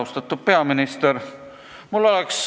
Austatud peaminister!